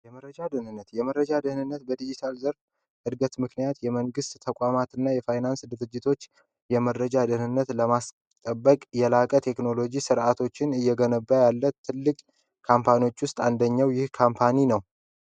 የመረጃ ደህንነት የመረጃ ደህንነት በዲጂታል እድገት ምክንያት የመንግስት ተቋማትና የፋይናንስ ድርጅቶች የመረጃ ደህንነት ለማስጠበቅ የላቀ ቴክኖሎጂ ስርዓቶችን እየገነቡ ያለ ትልቅ ካምፓኖች ውስጥ አንደኛው ይህ ካምፓኒ ነው